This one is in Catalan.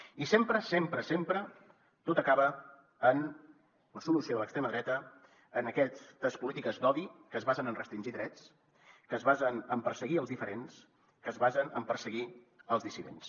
i sempre sempre sempre tot acaba en la solució de l’extrema dreta en aquestes polítiques d’odi que es basen en restringir drets que es basen en perseguir els diferents que es basen en perseguir els dissidents